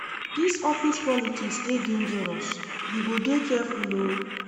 Dis office politics dey dangerous, you go dey careful o.